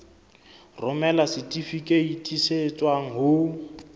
romela setifikeiti se tswang ho